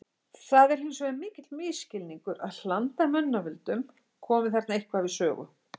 Það er hins vegar mikill misskilningur að hland af mannavöldum komi þarna eitthvað við sögu.